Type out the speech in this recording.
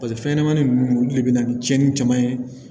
paseke fɛn ɲɛnɛmani nunnu olu de be na ni tiɲɛni caman ye